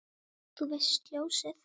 Þú veist, ljósið